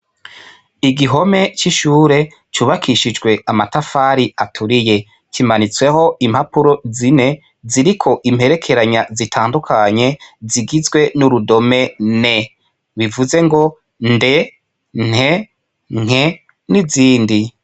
N'igihome c'ishure cubakishijwe amatafari aturiye kimanitsweho impapuro zine ziriko imperekeranya zitandukanye zigizwe n'urudome n ,bivuze ngo nd,nt, nk, n'izindi.